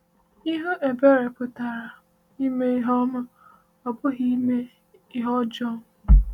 Ịhụ ebere pụtara ime ihe ọma, ọ bụghị ime ihe ọjọọ.